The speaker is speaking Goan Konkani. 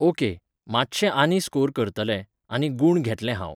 ओके, मातशें आनी स्कोर करतलें, आनी गूण घेतलें हांव.